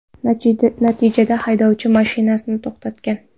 Natijada haydovchi mashinani to‘xtatgan.